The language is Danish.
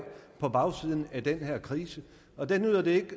på bagsiden af den her krise der nytter det ikke